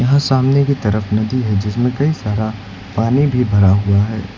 यहां सामने कि तरफ नदी है जिसमें कई सारा पानी भी भरा हुआ है।